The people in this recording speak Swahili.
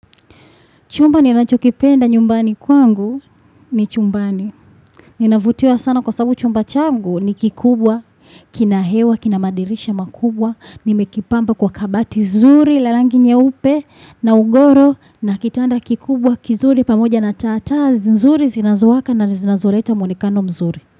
Chumba ni anachokipenda nyumbani kwangu ni chumbani. Ninavutiwa sana kwa sababu chumba changu ni kikubwa, kinahewa, kinamadirisha makubwa. Nimekipamba kwa kabati zuri, la rangi nyeupe na ugoro na kitanda kikubwa, kizuri, pamoja na tata. Nzuri, zinazowaka na zinazoleta mwuonekano mzuri.